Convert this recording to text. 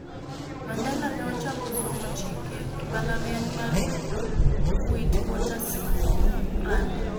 Mandela ne ochako somo chike e mbalariany mar Witwatersrand,